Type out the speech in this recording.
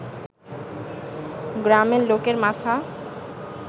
গ্রামের লোকের মাথা